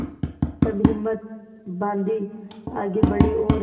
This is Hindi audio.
तब हिम्मत बॉँधी आगे बड़े और